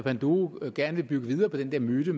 det ville